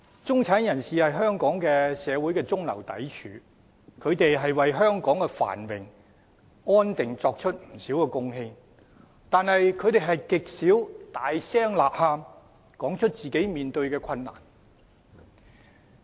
中產人士是香港社會的中流砥柱，為香港的繁榮安定作出不少貢獻，但他們極少大聲吶喊，說出自己面對的困難。